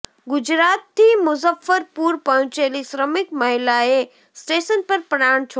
ગુજરાતથી મુઝફ્ફરપુર પહોંચેલી શ્રમિક મહિલાએ સ્ટેશન પર પ્રાણ છોડ્યા